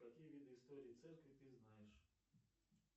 какие виды истории церкви ты знаешь